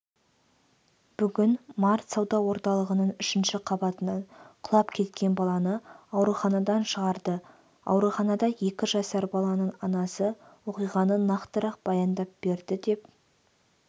бүгін март сауда орталығының үшінші қабатынан құлап кеткен баланы ауруханадан шығарды ауруханада екі жасар баланың анасы оқиғаны нақтырақ баяндап берді деп